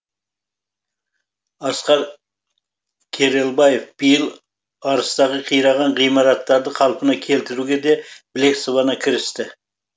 асқар керелбаев биыл арыстағы қираған ғимараттарды қалпына келтіруге де білек сыбана кірісті